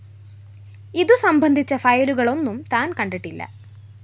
ഇതുസംബന്ധിച്ച ഫയലുകളൊന്നും താന്‍ കണ്ടിട്ടില്ല